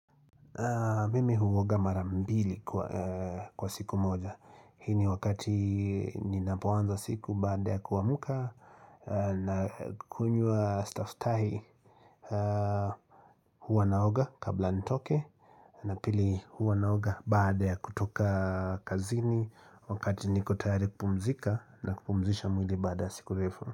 Mimi huoga mara mbili kwa siku moja Hii ni wakati ninapoanza siku baada ya kuamka na kunywaa staftahi huwa naoga kabla nitoke na pili huwa naoga baada ya kutoka kazini Wakati niko tayari kupumzika na kupumzisha mwili baada siku refu.